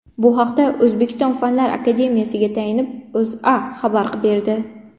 Bu haqda O‘zbekiston Fanlar akademiyasiga tayanib, O‘zA xabar berdi .